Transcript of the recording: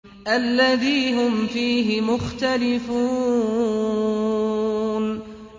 الَّذِي هُمْ فِيهِ مُخْتَلِفُونَ